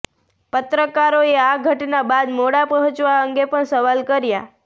પત્રકારોએ આ ઘટના બાદ મોડા પહોંચવા અંગે પણ સવાલ કર્યાં